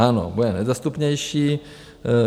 Ano, bude nedostupnější.